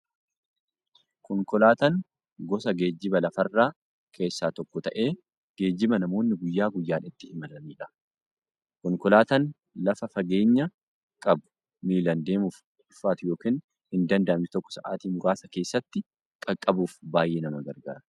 Konkolaataan gosa geejjiba lafarraa keessaa tokko ta'ee, geejjiba namoonni guyyaa guyyaan ittiin imalaniidha. Konkolaataan lafa fageenya qabu, miillan deemuuf ulfaatu yookiin hindanda'amne tokko sa'aatii muraasa keessatti qaqqabuuf baay'ee nama gargaara.